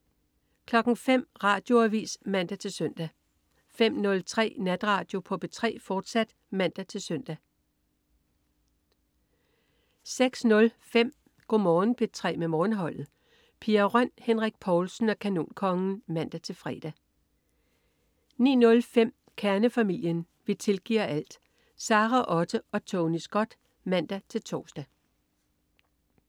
05.00 Radioavis (man-søn) 05.03 Natradio på P3, fortsat (man-søn) 06.05 Go' Morgen P3 med Morgenholdet. Pia Røn, Henrik Povlsen og Kanonkongen (man-fre) 09.05 Kernefamilien. Vi tilgiver alt! Sara Otte og Tony Scott (man-tors)